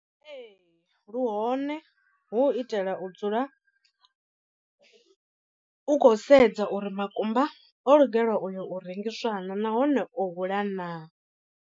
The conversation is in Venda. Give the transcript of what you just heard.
Ee lu hone hu u itela u dzula u khou sedza uri makumba o lugelwa u yo u rengiswa naa nahone o hula naa.